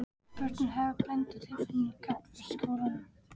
Börnin höfðu blendnar tilfinningar gagnvart skólanum.